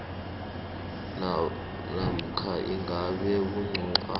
namkha ingasi bunqopha